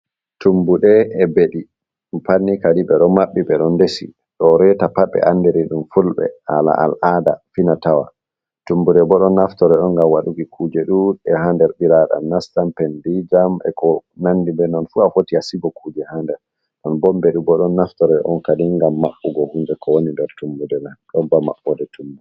Tummuɗe, e beɗi, ɗi pat ni kadi ɓe ɗo maɓɓi, ɓe ɗon ndesi, ɗo reta pat ɓe andiri ɗum fulɓe haala al'aada, fina tawa. Tummuɗe bo ɗon naftore on ngam waɗuki kuje ɗuuɗɗe ha nder, ɓiraaɗam nastan pendii jam, e ko nandi be non fu a foti a sigo kuje ha nder, nden bo ni beɗi bo ɗon naftore on kadin ngam maɓɓugo hunde ko woni nder tummude mai, ɗon ba maɓɓoode tummude.